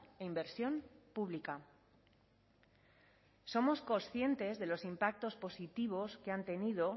e inversión pública somos conscientes de los impactos positivos que han tenido